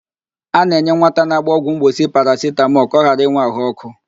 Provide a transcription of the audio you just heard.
A na-enye nwata a ga-agba ọgwụ mgbochi parasitamọl ka ọ ghara ịnwe ahụ ọkụ.